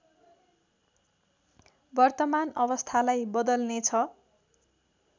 वर्तमान अवस्थालाई बदल्नेछ